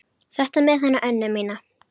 Þetta með hana Önnu mína.